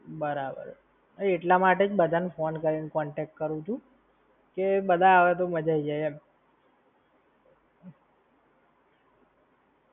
બરાબર, એટલા માટે જ બધા ને ફોન કરીને contact કરું છું, જે બધા આવે તો મજા આઈ જાય એમ.